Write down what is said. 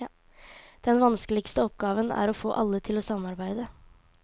Den vanskeligste oppgaven er å få alle til å samarbeide.